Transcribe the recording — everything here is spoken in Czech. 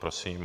Prosím.